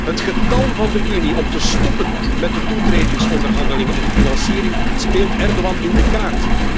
Het getalm van de Unie om te stoppen met de toetredingsonderhandelingen en financiering speelt Erdogan in de kaart.